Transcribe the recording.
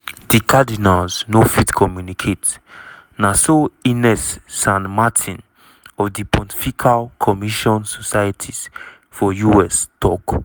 "di cardinals no fit communicate" na so ines san martin of di pontifical mission societies for us tok.